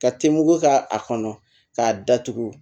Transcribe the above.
Ka tegu k'a kɔnɔ k'a datugu